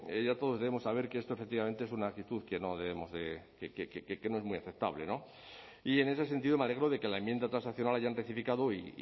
ya todos debemos saber que esto efectivamente es una actitud que no debemos de que no es muy aceptable no y en ese sentido me alegro de que la enmienda transaccional la hayan rectificado